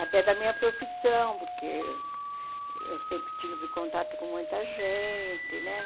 Até da minha profissão, porque eu sempre tive contato com muita gente, né?